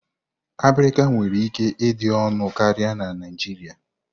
Abirika nwere ike ịdị ọnụ karịa na Naijiria.